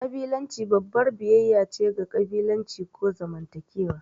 ƙabilanci babbar biyayya ce ga ƙabilanci ko zamantakewa.